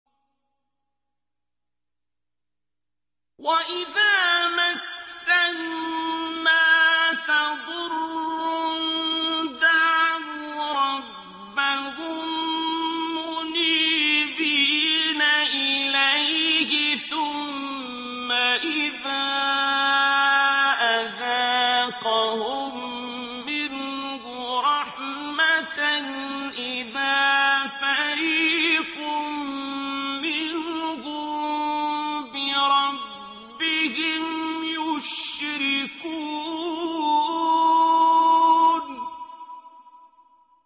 وَإِذَا مَسَّ النَّاسَ ضُرٌّ دَعَوْا رَبَّهُم مُّنِيبِينَ إِلَيْهِ ثُمَّ إِذَا أَذَاقَهُم مِّنْهُ رَحْمَةً إِذَا فَرِيقٌ مِّنْهُم بِرَبِّهِمْ يُشْرِكُونَ